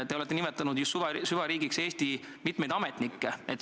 Te olete nimetanud ju süvariigiks mitmeid Eesti ametnikke.